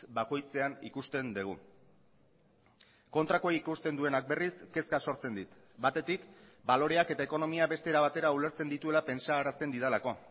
bakoitzean ikusten dugu kontrakoa ikusten duenak berriz kezka sortzen dit batetik baloreak eta ekonomia beste era batera ulertzen dituela pentsarazten didalako